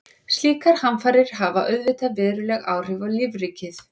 Slíkar hamfarir hafa auðvitað veruleg áhrif á lífríkið.